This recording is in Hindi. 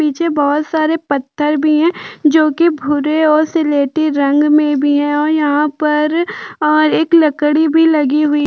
नीचे बोहोत सारे पत्थर भी है जो की भुरे और सिलेटी रंग मे भी है और यहाँ पर अ एक लकड़ी भी लगी हुई --